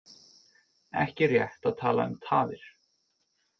Ekki rétt að tala um tafir